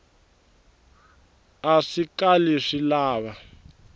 a swi kali swi lava